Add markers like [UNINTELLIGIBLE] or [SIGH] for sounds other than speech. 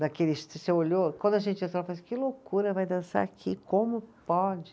Daqueles, [UNINTELLIGIBLE] você olhou, quando a gente entrou, [UNINTELLIGIBLE] que loucura, vai dançar aqui, como pode?